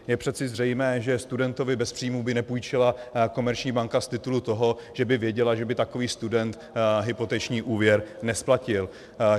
Je přece zřejmé, že studentovi bez příjmů by nepůjčila komerční banka z titulu toho, že by věděla, že by takový student hypoteční úvěr nesplatil.